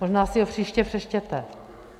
Možná si ho příště přečtěte.